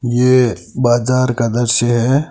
यह बाजार का दृश्य है।